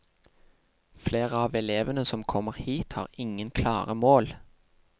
Flere av elevene som kommer hit har ingen klare mål.